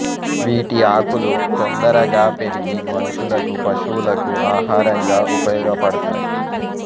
వీటి ఆకులు తొందరగా పెరిగి మనుషులకు పశువులకు ఆహారంగా ఉపయోగపడతాయి